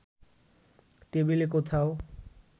টেবিলে কোথাও